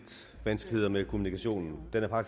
vanskeligheder med kommunikationen